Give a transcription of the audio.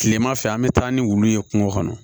Kilema fɛ an be taa ni wulu ye kungo kɔnɔ